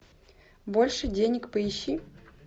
больше денег поищи